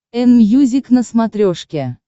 энмьюзик на смотрешке